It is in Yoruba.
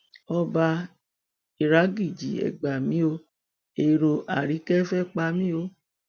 ọba ìràgìjì e gbà mí o èrò àríkè fẹẹ pa mí o